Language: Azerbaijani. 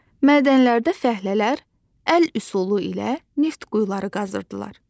Mədənlərdə fəhlələr əl üsulu ilə neft quyuları qazırdılar.